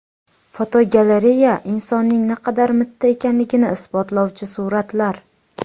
Fotogalereya: Insonning naqadar mitti ekanligini isbotlovchi suratlar.